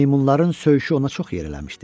Meymunların söyüşü ona çox yer eləmişdi.